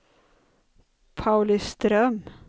Pauliström